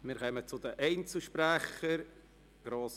Wir kommen zu den Einzelsprechern.